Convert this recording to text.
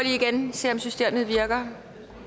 ser om systemet virker